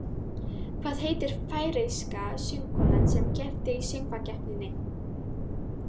Hvað heitir færeyska söngkonan sem keppti í Söngvakeppninni?